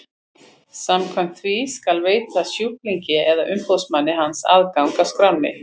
Samkvæmt því skal veita sjúklingi eða umboðsmanni hans aðgang að skránni.